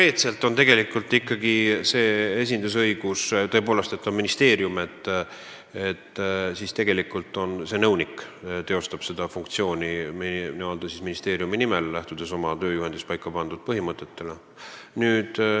Ei, see on ikkagi esindusõigus, st konkreetne nõunik teostab seda funktsiooni meie ministeeriumi nimel, lähtudes oma tööjuhendis paika pandud põhimõtetest.